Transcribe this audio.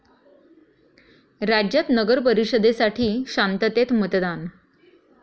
राज्यात नगरपरिषदेसाठी शांततेत मतदान